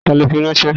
Ta ló fi ránṣẹ́?